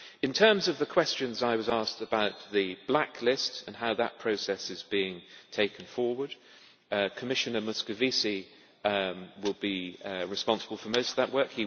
In terms of the questions I was asked about the blacklist and how that process is being taken forward, Commissioner Moscovici will be responsible for most of that work.